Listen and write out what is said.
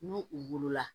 N'u u wolola